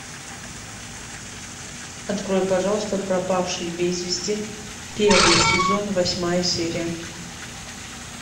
открой пожалуйста пропавший без вести первый сезон восьмая серия